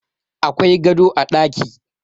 Akwai gado a ɗaki